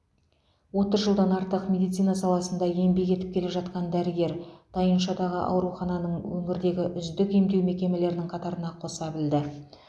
отыз жылдан артық медицина саласында еңбек етіп келе жатқан дәрігер тайыншадағы аурухананың өңірдегі үздік емдеу мекемелерінің қатарына қоса білді